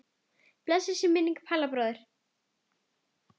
Blessuð sé minning Palla bróður.